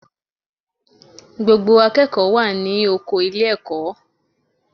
Gbogbo akẹ́kọ̀ọ́ wà ní oko ilé-ẹ̀kọ́